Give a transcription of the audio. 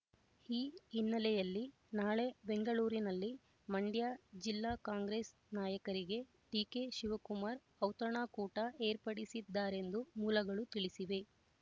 ಈ ಹಿನ್ನೆಲೆಯಲ್ಲಿ ನಾಳೆ ಬೆಂಗಳೂರಿನಲ್ಲಿ ಮಂಡ್ಯ ಜಿಲ್ಲಾ ಕಾಂಗ್ರೆಸ್ ನಾಯಕರಿಗೆ ಡಿಕೆ ಶಿವಕುಮಾರ್ ಔತಣಕೂಟ ಏರ್ಪಡಿಸಿದ್ದಾರೆಂದು ಮೂಲಗಳು ತಿಳಿಸಿವೆ